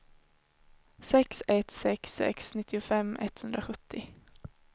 sex ett sex sex nittiofem etthundrasjuttio